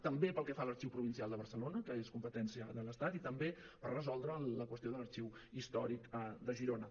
també pel que fa a l’arxiu provincial de barcelona que és competència de l’estat i també per resoldre la qüestió de l’arxiu històric de girona